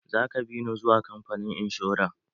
Za ka bi ni zuwa kamfanin inshora?